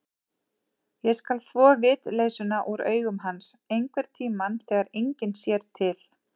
Ég skal þvo vitleysuna úr augum hans, einhverntíma þegar enginn sér til.